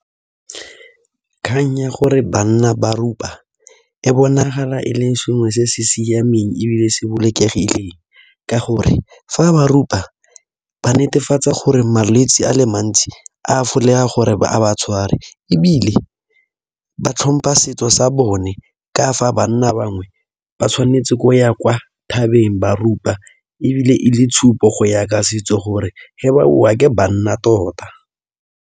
Kgang ya gore banna ba rupa e bonagala e le sengwe se se siameng ebile se bolokegileng ka gore fa ba rupa ba netefatsa gore malwetse a le mantsi a gore a ba tshware ebile ba tlhompha setso sa bone ka fa banna bangwe ba tshwanetse go ya kwa thabeng ba rupa ebile e le tshupo go ya ka setso gore ge ba boa ke banna tota.